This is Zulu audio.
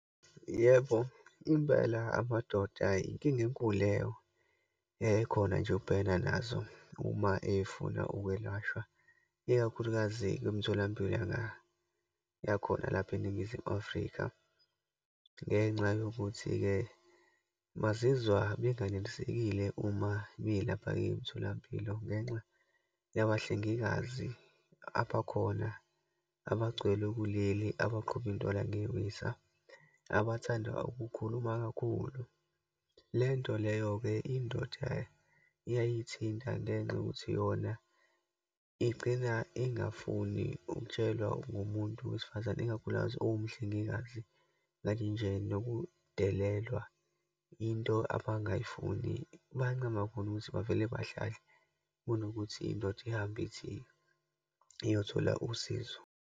Yebo, impela amadoda inkinga enkulu leyo ekhona nje ubhekana nazo uma efuna ukwelashwa, ikakhulukazi kwimtholampilo yakhona lapha eNingizimu Afrika. Ngenxa yokuthi-ke bazizwa benganelisekile uma belapha-ke emtholampilo, ngenxa yabahlengikazi abakhona, abagcwele kuleli, abaqhuba intwala ngewisa, abathanda ukukhuluma kakhulu. Le nto leyo-ke, indoda iyayithinta ngenxa yokuthi yona igcina ingafuni ukutshelwa ngumuntu wesifazane, ikakhulukazi owumhlengikazi, like nje nokudelelwa, into abangayifuni. Bayancama khona ukuthi bavele bahlale kunokuthi indoda ihambe ithi iyothola usizo.